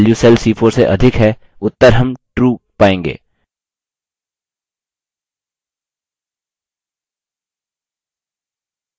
चूँकि cell c3 की value cell c4 से अधिक है उत्तर हम true पायेंगे